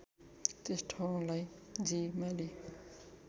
त्यस ठाउँलाई जिमाली